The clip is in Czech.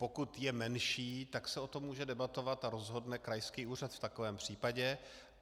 Pokud je menší, tak se o tom může debatovat a rozhodne krajský úřad v takovém případě.